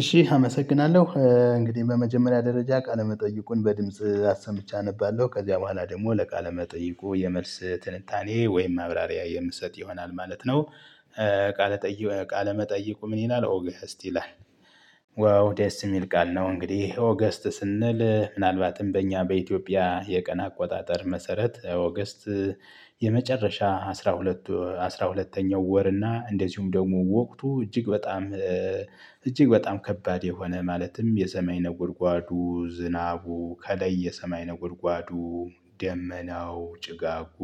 እሺ አመሰግናለሁ እንግዲህ በመጀመሪያ ደረጃ ቃለ መጠይቁን በድምጽ አስምቼ አነባለሁ ከዚያ በኋላ ደግሞ ለቃለ መጠይቁ የመልስ ትንታኔ ወይም ማብራሪያ የምትሰጥ ይሆናል ማለት ነው። ቃለ መጠይቁ ምን ይላል ኦገስት ይላል? ዋው ደስ የሚል ቃል ነው እንግዲህ ኦገስት ስንል ምናልባትም በእኛ በኢትዮጵያ የቀን አቆጣጠር መሰረት ኦገስት። የመጨረሻ አስራ ሁለት አስራ ሁለተኛው ወር እና እንደዚሁም ደግሞ ወቅቱ እጅግ በጣም እጅግ በጣም ከባድ የሆነ ማለትም የሰማይ ነጎድጓዱ ዝናቡ ከላይ የሰማይ ነጎድጓዱ። ደመናው ጭጋጉ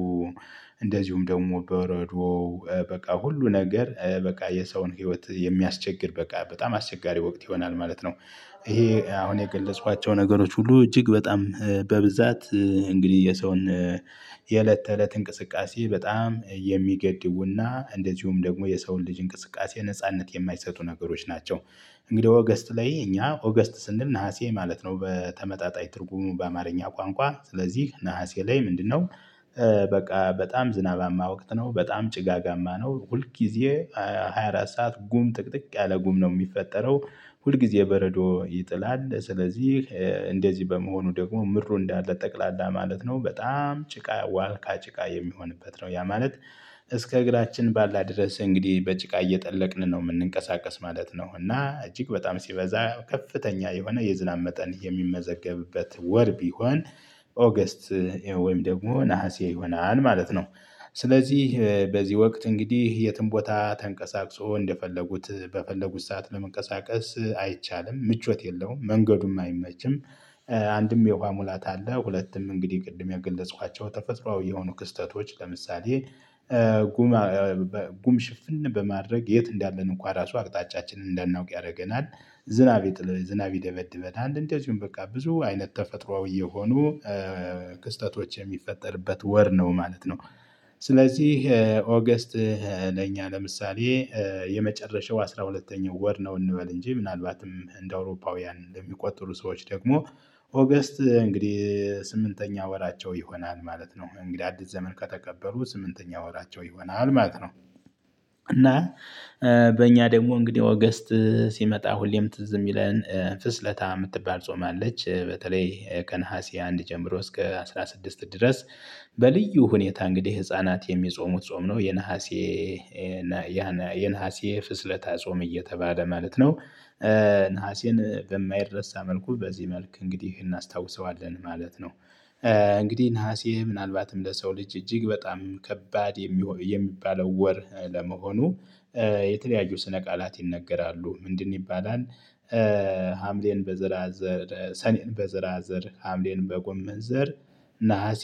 እንደዚሁም ደግሞ በረዶው በቃ ሁሉ ነገር በቃ የሰውን ህይወት የሚያስቸግር በቃ በጣም አስቸጋሪ ወቅት ይሆናል ማለት ነው። ይሄ አሁን የገለጽኋቸው ነገሮች ሁሉ እጅግ በጣም በብዛት እንግዲህ የሰውን የእለት ተእለት እንቅስቃሴ በጣም የሚገድቡና እንደዚሁም ደግሞ የሰውን ልጅ እንቅስቃሴ ነጻነት የማይሰጡ ነገሮች ናቸው። እንግዲህ ኦገስት ላይ እኛ ኦገስት ስንል ነሀሴ ማለት ነው በተመጣጣኝ ትርጉሙ በአማርኛ ቋንቋ ስለዚህ ነሀሴ ላይ ምንድነው? በቃ በጣም ዝናባማ ወቅት ነው በጣም ጭጋጋማ ነው ሁል ጊዜ። 24 ሰዓት ጉም ጥቅጥቅ ያለ ጉም ነው የሚፈጠረው ሁል ጊዜ በረዶ ይጥላል ስለዚህ። እንደዚህ በመሆኑ ደግሞ ምድሩ እንዳለ ጠቅላላ ማለት ነው በጣም ጭቃ ዋልካ ጭቃ የሚሆንበት ነው ያ ማለት። እስከ እግራችን ባላደርስ እንግዲህ በጭቃ እየጠለቅን ነው የምንንቀሳቀስ ማለት ነው እና እጅግ በጣም ሲበዛ ከፍተኛ የሆነ የዝናብ መጠን የሚመዘገብበት ወር ቢሆን። ኦገስት ወይም ደግሞ ነሀሴ ይሆናል ማለት ነው። ስለዚህ በዚህ ወቅት እንግዲህ የትም ቦታ ተንቀሳቅሶ እንደፈለጉት በፈለጉት ሰዓት ለመንቀሳቀስ አይቻልም ምቾት የለውም መንገዱም አይመችም። አንድም የውሃ ሙላት አለ ሁለቱም እንግዲህ ቅድም የገለጽኳቸው ተፈጥሮአዊ የሆኑ ክስተቶች ለምሳሌ። ጉም ሽፍን በማድረግ የት እንዳለን እንኳን ራሱ አቅጣጫችንን እንዳናውቅ ያደርገናል። ዝናብ ይደበድበናል እንደዚሁም በቃ ብዙ አይነት ተፈጥሮአዊ የሆኑ ክስተቶች የሚፈጠርበት ወር ነው ማለት ነው። ስለዚህ ኦገስት ለእኛ ለምሳሌ የመጨረሻው አስራ ሁለተኛው ወር ነው። እንበል እንጂ ምናልባትም እንደ አውሮፓውያን እንደሚቆጥሩ ሰዎች ደግሞ ኦገስት እንግዲህ ስምንተኛ ወራቸው ይሆናል ማለት ነው እንግዲህ አዲስ ዘመን ከተቀበሉ ስምንተኛ ወራቸው ይሆናል ማለት ነው። እና በእኛ ደግሞ እንግዲህ ኦገስት ሲመጣ ሁሌም ትዝ የሚለን ፍስለታ የምትባል ጾም አለች በተለይ ከነሀሴ አንድ ጀምሮ እስከ አስራ ስድስት ድረስ። በልዩ ሁኔታ እንግዲህ ህፃናት የሚጾሙት ጾም ነው የነሀሴ የነሀሴ ፍስለታ ጾም እየተባለ ማለት ነው። ነሐሴን በማይረሳ መልኩ በዚህ መልክ እንግዲህ እናስታውሰዋለን ማለት ነው። እንግዲህ ነሀሴ ምናልባትም ለሰው ልጅ እጅግ በጣም ከባድ የሚባለው ወር ለመሆኑ የተለያዩ ስነ ቃላት ይነገራሉ ምንድን ይባላል? ሀምሌን በዘራዘር፣ ሰኔን በዘራዘር ሀምሌን በጎመን ዘር። ነሀሴ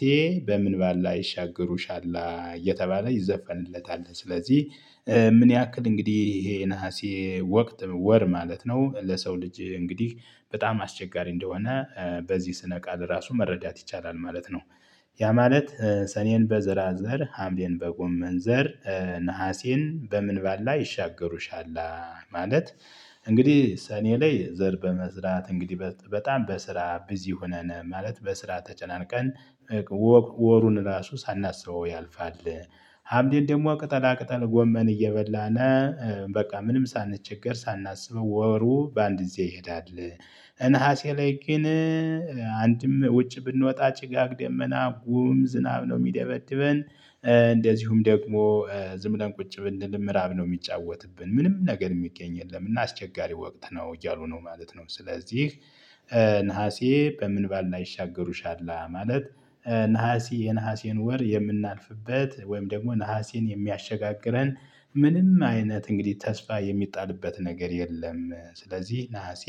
በምን ባላ ይሻገሩሻላ እየተባለ ይዘፈንለታል ስለዚህ። ምን ያክል እንግዲህ ይሄ ነሀሴ ወቅት ወር ማለት ነው ለሰው ልጅ እንግዲህ በጣም አስቸጋሪ እንደሆነ በዚህ ስነ ቃል ራሱ መረዳት ይቻላል ማለት ነው። ያ ማለት ሰኔን በዘራዘር ሀምሌን በጎመን ዘር ነሀሴን በምን ባላ ይሻገሩሻል ማለት። እንግዲህ ሰኔ ላይ ዘር በመዝራት እንግዲህ በጣም በስራ ቢዚ ሆነን ማለት በስራ ተጨናንቀን። ወሩን ራሱ ሳናስበው ያልፋል። ሀምሌን ደግሞ ቅጠላ ቅጠል ጎመን እየበላን። በቃ ምንም ሳንቸገር ሳናስበው ወሩ በአንድ ጊዜ ይሄዳል። ነሀሴ ላይ ግን አንድም ውጭ ብንወጣ ጭጋግ ደመና ጉም ዝናብ ነው የሚደበድብን። እንደዚሁም ደግሞ ዝም ብለን ቁጭ ብንል ምዕራብ ነው የሚጫወትብን ምንም ነገር የሚገኝ የለም እና አስቸጋሪ ወቅት ነው እያሉ ነው ማለት ነው። ስለዚህ ነሀሴ በምን ባላ ይሻገሩሻል ማለት ነሀሴ፣ ፐየነሐሴን ወር የምናልፍበት ወይም ደግሞ ነሐሴን የሚያሸጋግረን ምንም አይነት እንግዲህ ተስፋ የሚጣልበት ነገር የለም። ስለዚህ ነሀሴ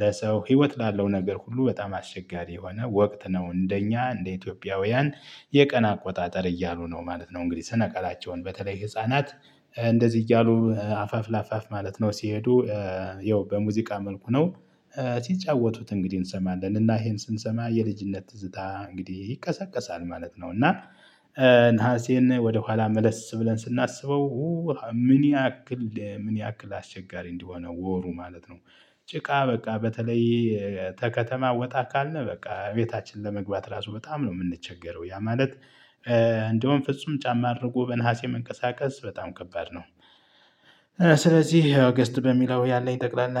ለሰው ህይወት ላለው ነገር ሁሉ በጣም አሰቸጋሪ የሆነ ወቅት ነው። እንደኛ እንደ ኢትዮጵያውያን የቀን አቆጣጠር እያሉ ነው ማለት ነው። እንግዲህ ስነ-ቃላቸውን በተለይ ህፃናት እንደዚህ እያሉ አፋፍ ለአፋፍ ማለት ነው ሲሄዱ። ያው በሙዚቃ መልኩ ነው። ሲጫወቱት እንግዲህ እንሰማለን እና ይሄን ስንሰማ የልጅነት ትዝታ እንግዲህ ይቀሰቀሳል ማለት ነው። እና ነሐሴን ወደ ኋላ መለስ ብለን ስናስበው። ምን ያክል ምን አስቸጋሪ እንዲሆነው ወሩ ማለት ነው። ጭቃ በቃ በተለይ ከተማ ወጣ ካልነህ በቃ ቤታችን ለመግባት ራሱ በጣም ነው የምንቸገረው ያ ማለት። እንደውም ፍጹም ጫማ አድርጎ በነሀሴ መንቀሳቀስ በጣም ከባድ ነው። ስለዚህ ኦገስት በሚለው ያለኝ ጠቅላላ